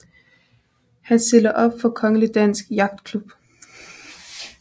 Han stiller op for Kongelig Dansk Yachtklub